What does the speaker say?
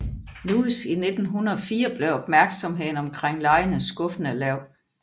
Louis i 1904 blev opmærksomheden omkring legene skuffende lav